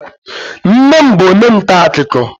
Nne m bụ onye nta akụkọ